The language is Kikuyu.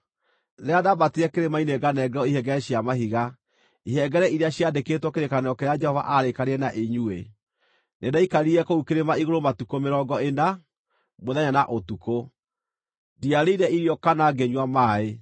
Rĩrĩa ndaambatire kĩrĩma-inĩ nganengerwo ihengere cia mahiga, ihengere iria ciandĩkĩtwo kĩrĩkanĩro kĩrĩa Jehova aarĩkanĩire na inyuĩ, nĩndaikarire kũu kĩrĩma igũrũ matukũ mĩrongo ĩna, mũthenya na ũtukũ; ndiarĩire irio kana ngĩnyua maaĩ.